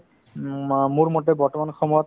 উম, অ মোৰমতে বৰ্তমান সময়ত